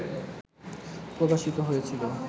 প্রকাশিত হয়েছিল